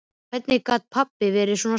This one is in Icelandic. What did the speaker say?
Hvernig gat pabbi verið svona strangur?